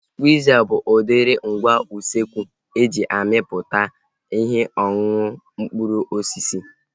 Skwiiza bụ udiri ngwa usekwu e ji amịpụta ihe ọṅụṅụ mkpụrụ osisi